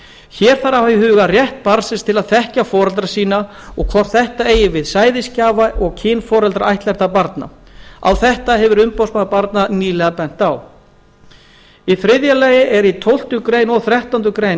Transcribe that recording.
hér þarf að hafa í huga rétt barnsins til að þekkja foreldra sína og hvort þetta eigi við sæðisgjafa og kynforeldra ættleiddra barna á þetta hefur umboðsmaður barna nýlega bent í þriðja lagi er í tólftu greinar og þrettándu greinar